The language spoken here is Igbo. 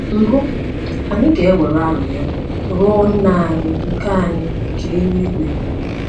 Mbụ, anyị ga - ewere arịrịọ ruo Nna anyị nke anyị nke eluigwe.